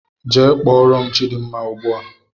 Gaa kpọọrọ m chidimma ugbu a!